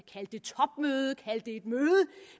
et møde